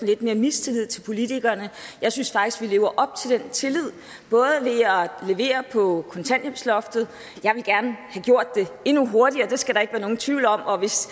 lidt mere mistillid til politikerne jeg synes faktisk vi lever op til den tillid at levere på kontanthjælpsloftet jeg ville gerne have gjort det endnu hurtigere det skal der ikke være nogen tvivl om og hvis